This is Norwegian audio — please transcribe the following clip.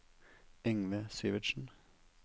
Yngve Syvertsen